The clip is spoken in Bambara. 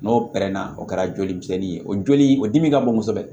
N'o pɛrɛnna o kɛra joli misɛnnin ye o joli o dimi ka bon kosɛbɛ